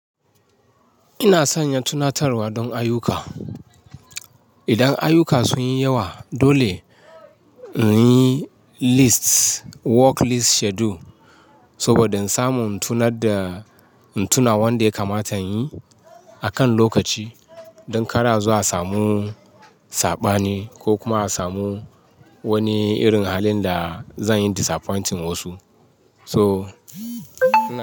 Ina sanya tunatarwa don ayyuka. Idan ayuka sun yi yawa, dole in yi list work list schedule saboda in samu in tunar da in tuna wanda ya kamata in yi akan lokaci. Don kar azo a samu saɓani ko kuma a samu wani irin halin da zan yi disappointing wasu. So ina.